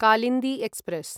Kalindi express